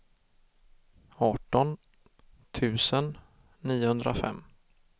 arton tusen niohundrafem